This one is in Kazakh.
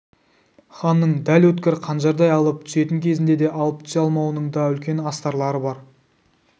ханның дәл өткір қанжардай алып түсетін кезінде де алып түсе алмауының да үлкен астарлары бар